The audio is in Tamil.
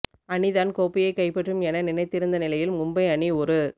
அணிதான் கோப்பையை கைப்பற்றும் என நினைத்திருந்த நிலையில் மும்பை அணி ஒரு